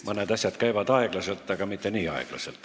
Mõned asjad käivad aeglaselt, aga mitte nii aeglaselt.